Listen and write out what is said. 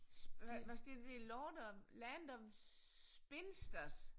Hvad står der det lord of land of spinsters